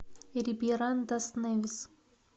рибейран дас невис